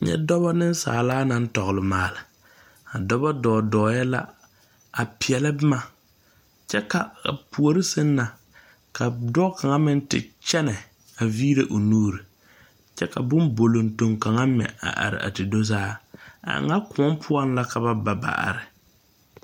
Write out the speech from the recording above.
Nyɛ dɔɔba nensaalba naŋ tɔgle maale dɔɔba dɔ dɔɛ la a peɛle boma kyɛ ka a puori saŋ na ka dɔɔ kaŋa meŋ te kyɛne a vire o nuure kyɛ ka bonbolotoge kaŋa mɛ a are a te do saa a e ŋa kõɔ poɔ la ka ba ba ba are.